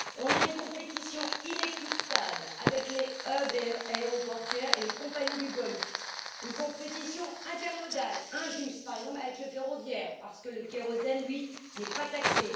La compétition est inéquitable avec les hubs aéroportuaires et les compagnies du Golfe la compétition intermodale est injuste, par exemple avec le ferroviaire, parce que le kérosène n'est pas taxé.